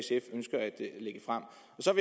så